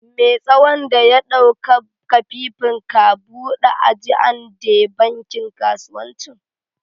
Me' tsawon da ya ɗauka kafifin ka bude ajian de bankin kasuwancin??